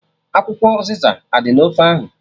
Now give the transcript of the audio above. Akwụkwọ ụzịza adị na ofe ahụ?